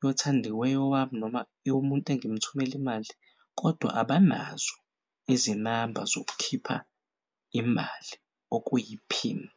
yothandiweyo wami noma eyomuntu angimthumel'imali kodwa abanazo izinamba zokukhipha imali okuyiphini.